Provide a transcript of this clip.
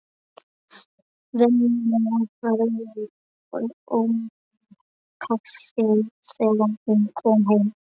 Venjulega verið önnum kafin þegar hún kom heim.